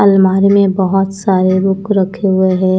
अलमारी में बहत सारे रुक रखे हुए हैं।